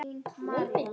Lömbin líka.